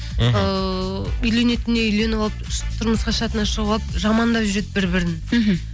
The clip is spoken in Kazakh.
мхм ыыы үйленетініне үйленіп алып тұрмысқа шығатынына шығып алып жамандап жүреді бір бірін мхм